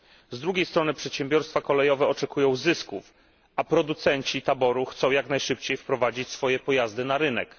Z drugiej strony przedsiębiorstwa kolejowe oczekują zysków, a producenci taboru chcą jak najszybciej wprowadzić swoje pojazdy na rynek.